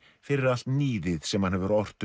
fyrir allt níðið sem hann hefur ort um